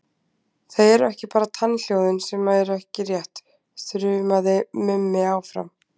Það eru ekki bara tannhljóðin sem eru ekki rétt, þrumaði Mimi áfram.